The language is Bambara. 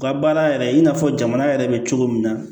U ka baara yɛrɛ i n'a fɔ jamana yɛrɛ bɛ cogo min na